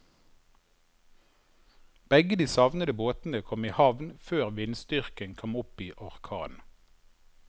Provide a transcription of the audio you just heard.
Begge de savnede båtene kom i havn før vindstyrken kom opp i orkan.